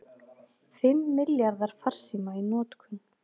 Fimm milljarðar farsíma í notkun